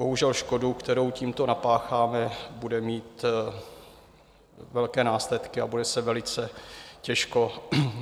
Bohužel škoda, kterou tímto napácháme, bude mít velké následky a bude se velice těžko